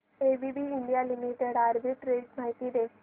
ABB India Limited arbitrage माहिती दे